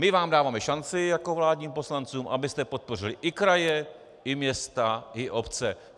My vám dáváme šanci jako vládním poslancům, abyste podpořili i kraje i města i obce.